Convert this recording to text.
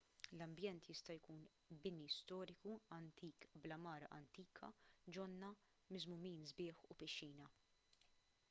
l-ambjent jista' jkun bini storiku antik bl-għamara antika ġonna miżmumin sbieħ u pixxina